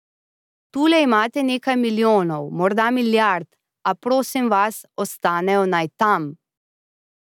Tule imate nekaj milijonov, morda milijard, a prosim vas, ostanejo naj tam.